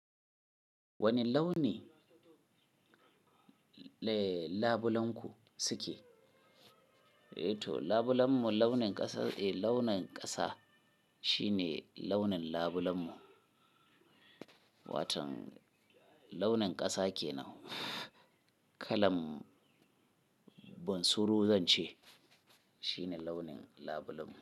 Wane launi, eh labulenku suke? Eh to labulenmu launin ƙasa, eh launin ƙasa shine launin labulenmu. Watan launin ƙasa ke nan. Kalam bunsuru zance shine launin labulenmu.